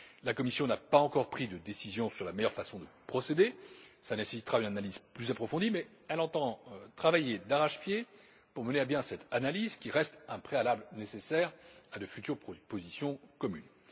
La Commission n'a pas encore pris de décision sur la meilleure façon de procéder, ce qui nécessitera une analyse plus approfondie, mais elle entend travailler d'arrache pied pour mener à bien cette analyse qui reste un préalable nécessaire à de futures positions communes.